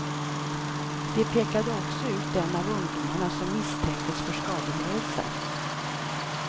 De pekade också ut en av ungdomarna som misstänktes för skadegörelse.